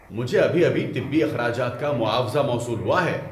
مجھے ابھی ابھی طبی اخراجات کا معاوضہ موصول ہوا ہے۔